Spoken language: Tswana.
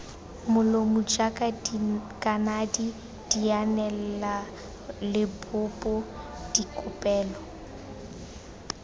molomo jaaka dikanedi dianelalebopo dikopelo